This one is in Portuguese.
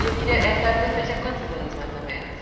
E eu queria, essa época você tinha quantos anos, mais ou menos?